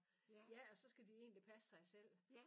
Ja og så skal de egentlig passe sig selv